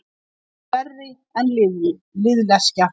Hann yrði verri en liðleskja.